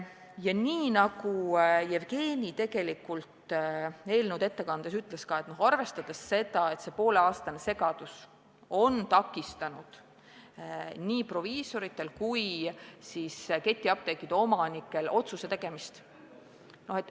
Ja nagu Jevgeni eelnõu ette kandes ütles, ka see pooleaastane segadus on takistanud nii proviisoritel kui ketiapteekide omanikel otsust teha.